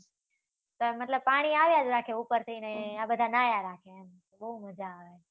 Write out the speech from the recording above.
પણ મતલબ, પાણી આવ્યા જ રાખે ઉપરથી ને આ બધા ન્હાયા રાખે. બહુ મજા આવે.